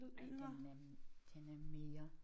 Ej den er den er mere